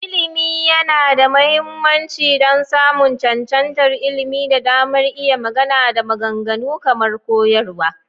Ilimi yana da mahimmanci don samun cancantar ilimi da damar iya magana da maganganu kamar koyarwa.